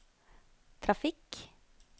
trafikk